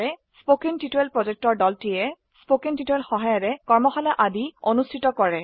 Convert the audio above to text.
কথন শিক্ষণ প্ৰকল্পৰ দলটিয়ে কথন শিক্ষণ সহায়িকাৰে কৰ্মশালা আদি অনুষ্ঠিত কৰে